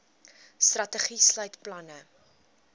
strategie sluit planne